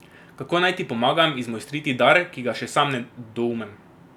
Kako naj ti pomagam izmojstriti dar, ki ga še sam ne doumem?